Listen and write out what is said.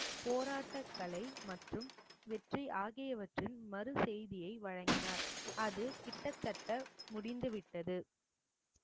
போராட்டக்கலை மற்றும் வெற்றி ஆகியவற்றின் மறு செய்தியை வழங்கினார் அது கிட்டத்தட்ட முடிந்து விட்டது